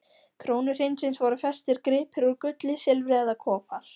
krónu hreinsins voru festir gripir úr gulli, silfri eða kopar.